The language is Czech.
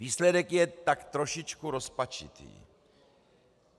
Výsledek je tak trošičku rozpačitý.